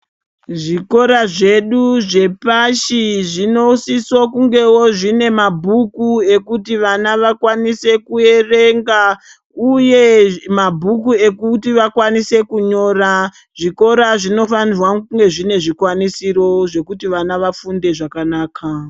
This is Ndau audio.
Zvikora zvedu zvepashi zvinosisa kungewo zvine mabhuku ekuti vana vakwanise kuerenga. Uye mabhuku ekuti vakwanise kunyora. Zvikora zvinofanirwa kunge zvine zvikwanisiro zvekuti vana vafunde zvakanaka.